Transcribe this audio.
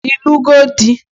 Ịlụgo di?